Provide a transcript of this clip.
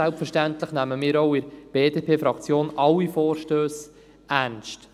Selbstverständlich nehmen auch wir von der BDP-Fraktion alle Vorstösse ernst.